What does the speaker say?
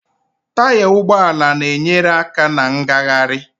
Taya ụgbọala na-enyere aka na ngagharị